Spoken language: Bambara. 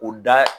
U da